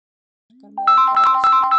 Tvö myndbönd Bjarkar meðal þeirra bestu